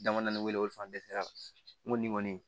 Dama damani wele fan dɛsɛra n ko nin kɔni